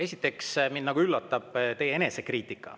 Esiteks, mind üllatab teie enesekriitika.